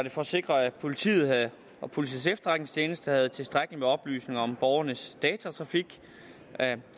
det for at sikre at politiet og politiets efterretningstjeneste havde tilstrækkeligt med oplysninger om borgernes datatrafik